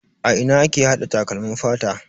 A ina ake hada takalmin fata?